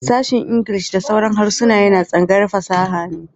Sashen Ingilishi da sauran harsuna yana tsangayar fasaha ne.